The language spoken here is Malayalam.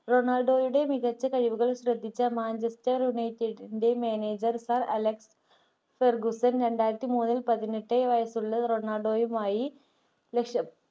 റൊണാൾഡോയുടെ മികച്ച കഴിവുകൾ ശ്രദ്ധിച്ച manchester ൻെറ managerSIR അലക്സൺ ഗുപ്തൻ രണ്ടായിരത്തി പതിമൂന്നിൽ പതിനെട്ട് വയസുള്ള റൊണാൾഡൊയുമായി ലക്ഷ